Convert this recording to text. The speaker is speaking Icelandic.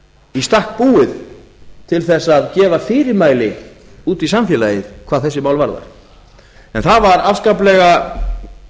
í stakk búið til þess að gefa fyrirmæli út í samfélagið hvað þessi mál varðar en það var afskaplega